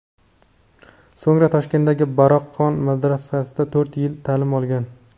So‘ngra Toshkentdagi Baroqxon madrasasida to‘rt yil ta’lim olgan.